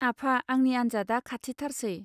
आफा आंनि आनजादआ खाथिथारसै.